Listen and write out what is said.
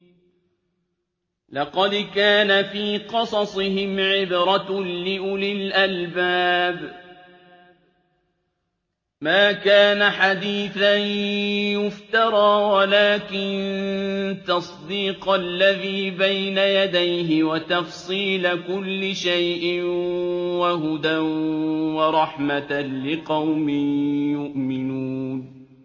لَقَدْ كَانَ فِي قَصَصِهِمْ عِبْرَةٌ لِّأُولِي الْأَلْبَابِ ۗ مَا كَانَ حَدِيثًا يُفْتَرَىٰ وَلَٰكِن تَصْدِيقَ الَّذِي بَيْنَ يَدَيْهِ وَتَفْصِيلَ كُلِّ شَيْءٍ وَهُدًى وَرَحْمَةً لِّقَوْمٍ يُؤْمِنُونَ